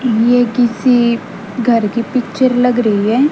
ये किसी घर की पिक्चर लग रही है।